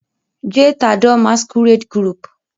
je t'adore masquerade group